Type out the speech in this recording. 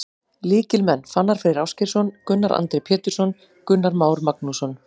Lykilmenn: Fannar Freyr Ásgeirsson, Gunnar Andri Pétursson, Gunnar Már Magnússon.